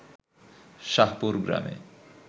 শাহপুর গ্রামে